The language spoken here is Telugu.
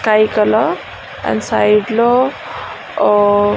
కైకల అండ్ సైడ్ లో --